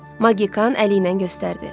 Magikan əliylə göstərdi.